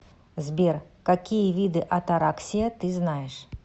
сбер какие виды атараксия ты знаешь